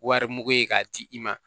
Wari mugu ye k'a di i ma